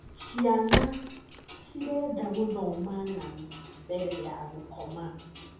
Ciana cirenda gũthoma ng'ano mbere ya gũkoma.